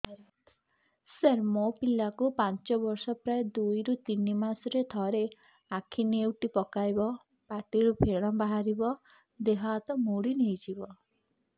ସାର ମୋ ପିଲା କୁ ପାଞ୍ଚ ବର୍ଷ ପ୍ରାୟ ଦୁଇରୁ ତିନି ମାସ ରେ ଥରେ ଆଖି ନେଉଟି ପକାଇବ ପାଟିରୁ ଫେଣ ବାହାରିବ ଦେହ ହାତ ମୋଡି ନେଇଯିବ